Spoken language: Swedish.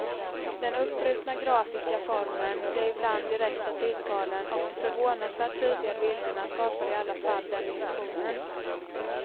Den uppbrutna grafiska formen, de ibland direkta tilltalen och de förvånansvärt tydliga bilderna skapar i alla fall den illusionen.